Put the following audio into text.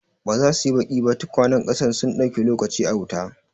Ba za su yi baki ba? tukwanen ƙasar sun dauki lokaci a wuta.